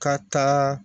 Ka taa